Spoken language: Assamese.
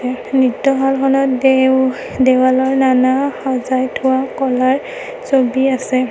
নৃত্যশালখনত দেও দেৱালৰ নানা সজাই থোৱা কলাৰ ছবি আছে।